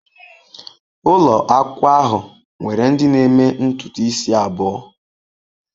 Ụlọ akwụkwọ ahụ nwere ndị na-eme ntutu isi abụọ.